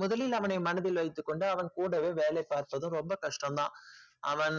முதலில் அவனை மனதில் வைத்ததும் கஷ்டம் தான் அவன் கூட வேலை பார்த்ததும் ரொம்ப கஷ்டம் தான் அவன்